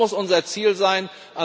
Das muss unser Ziel sein.